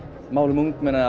málum ungmenna